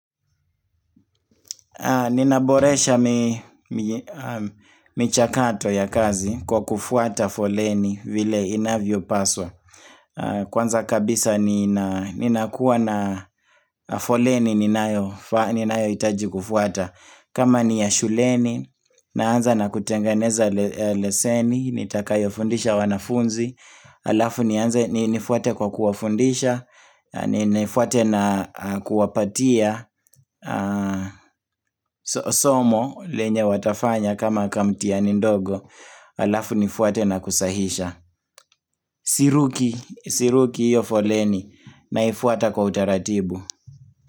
Ninaboresha michakato ya kazi kwa kufuata foleni vile inavyo paswa Kwanza kabisa ninakuwa na foleni ninayo hitaji kufuata kama ni ya shuleni, naanza na kutenganeza leseni, nitakayo fundisha wanafunzi alafu nianze ni nifuate kwa kuwafundisha, ni nifuate na kuwapatia somo lenye watafanya kama kamtihani ndogo alafu nifuate na kusahisha, siruki, siruki hiyo foleni, naifuata kwa utaratibu.